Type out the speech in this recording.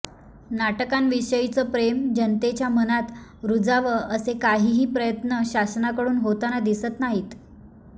नाटकांविषयीचं प्रेम जनतेच्या मनात रुजावं असे काहीही प्रयत्न शासनाकडून होताना दिसत नाहीत